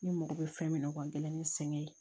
Ne mago bɛ fɛn min na n gɛlɛn ni sɛgɛn ye